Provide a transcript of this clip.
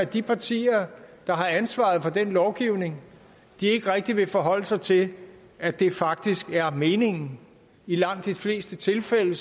de partier der har ansvaret for den lovgivning ikke rigtig vil forholde sig til at det faktisk er meningen i langt de fleste tilfælde